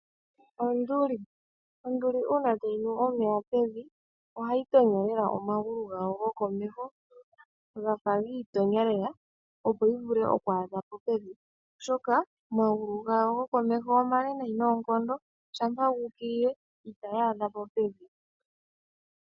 Onduli Onduli uuna tayi nu omeya pevi, ohayi tonyo lela omagulu gayo gokomeho gafa gi itonya lela, opo yi vule oku adha po pevi, oshoka omagulu gawo gokomeho omale nayi noonkondo shampa gu ukilile itayi adha po pevi.